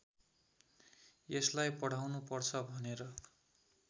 यसलाई पढाउनुपर्छ भनेर